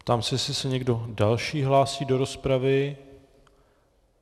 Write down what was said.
Ptám se, jestli se někdo další hlásí do rozpravy.